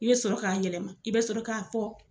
I bɛ sɔrɔ k'a yɛlɛma i bɛ sɔrɔ k'a fɔ